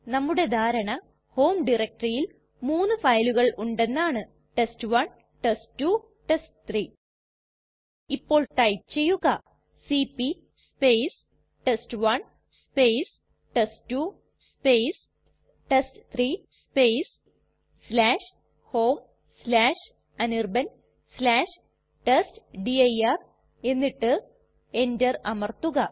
നമ്മുടെ ധാരണ ഹോം ടയരക്റ്റെറിയിൽ മൂന്നു ഫയലുകൾ ഉണ്ടെന്നാണ് ടെസ്റ്റ്1 ടെസ്റ്റ്2 ടെസ്റ്റ്3 ഇപ്പോൾ ടൈപ്പ് ചെയ്യുക C P test one test two test three homeanirbantestdir എന്നിട്ട് enter അമർത്തുക